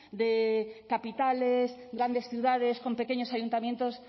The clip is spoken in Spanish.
de capitales grandes ciudades con pequeños ayuntamientos